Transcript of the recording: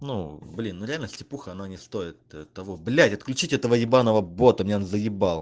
ну блин реально стипуха она не стоит того блять отключить этого ебаного бота меняон заибал